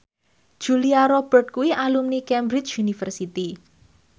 Julia Robert kuwi alumni Cambridge University